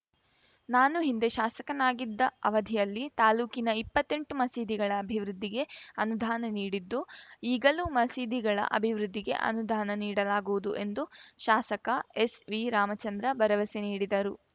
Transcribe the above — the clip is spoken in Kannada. ನಾನು ಹಿಂದೆ ಶಾಸಕನಾಗಿದ್ದ ಅವಧಿಯಲ್ಲಿ ತಾಲೂಕಿನ ಇಪ್ಪತ್ತೆಂಟು ಮಸೀದಿಗಳ ಅಭಿವೃದ್ಧಿಗೆ ಅನುದಾನ ನೀಡಿದ್ದು ಈಗಲೂ ಮಸೀದಿಗಳ ಅಭಿವೃದ್ಧಿಗೆ ಅನುಧಾನ ನೀಡಲಾಗುವುದು ಎಂದು ಶಾಸಕ ಎಸ್‌ವಿ ರಾಮಚಂದ್ರ ಭರವಸೆ ನೀಡಿದರು